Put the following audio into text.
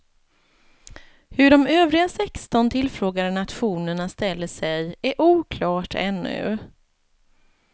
Hur de övriga sexton tillfrågade nationerna ställer sig är oklart ännu.